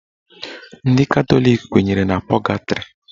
Ndị Katọlik kwenyere na pọgatrị.